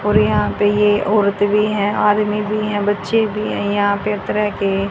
और यहां पे ये औरते भी हैं आदमी भी हैं बच्चे भी हैं यहां पे तरह के --